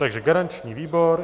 Takže garanční výbor.